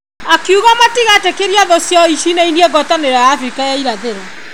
Akiuga matigetĩkĩrie thũ ciao mainainie ngwatanĩto ya Afrika ya irathĩro.